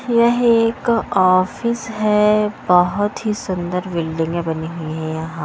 यह एक ऑफिस है बहुत ही सुंदर बिल्डिंगें बनी हुई है यहाँ --